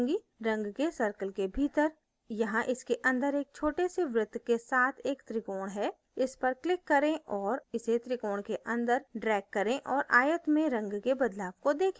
रंग के circle के भीतर यहाँ इसके अंदर एक छोटे से वृत्त के साथ एक त्रिकोण है इस पर click करें और इसे त्रिकोण के अंदर drag करें और आयत में रंग के बदलाव को देखें